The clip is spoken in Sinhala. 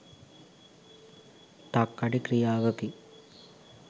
තක්කඩි ක්‍රියාවකි.